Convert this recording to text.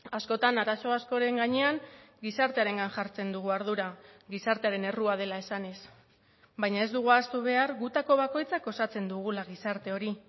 askotan arazo askoren gainean gizartearengan jartzen dugu ardura gizartearen errua dela esanez baina ez dugu ahaztu behar gutako bakoitzak osatzen dugula gizarte hori